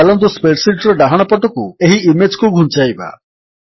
ଚାଲନ୍ତୁ spreadsheet ର ଡାହାଣପଟକୁ ଏହି ଇମେଜ୍ କୁ ଘୁଞ୍ଚାଇବା